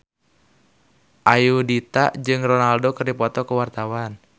Ayudhita jeung Ronaldo keur dipoto ku wartawan